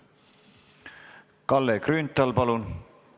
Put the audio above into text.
Kalle Grünthal, palun!